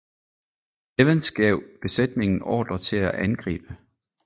Evans gav besætningen ordre til at angribe